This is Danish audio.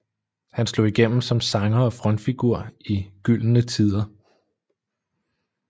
Han slog igennem som sanger og frontfigur i Gyllene Tider